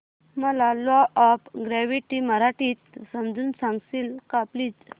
मला law of gravity मराठीत समजून सांगशील का प्लीज